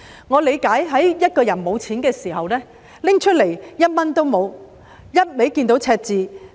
我理解一個人在財政緊絀的時候，要拿出1元也很困難，因為只看到赤字。